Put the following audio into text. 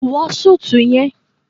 Wọ súùtù yẹn